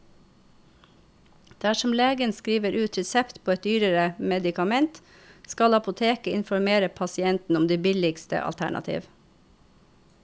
Dersom legen skriver ut resept på et dyrere medikament, skal apoteket informere pasienten om det billigste alternativ.